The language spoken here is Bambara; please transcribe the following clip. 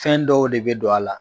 Fɛn dɔw de bɛ don a la